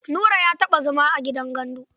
Nura ya taɓa zama a gidan gandu.